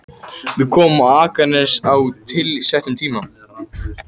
Við komum á Akranes á tilsettum tíma.